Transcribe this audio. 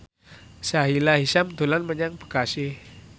Sahila Hisyam dolan menyang Bekasi